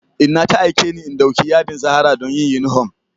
Inna ta aike ni in ɗauki yadin zahara don yin yunifom